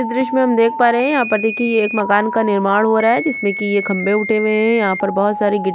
दृश मे हम देख पा रहै है यहा पर देखिये यहाँ एक मकान का निर्माण हो रहा है जिसमे की ये खंबे उठे हुये है यहाँ पर बोहोत सारे गि --